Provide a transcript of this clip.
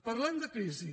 parlem de crisi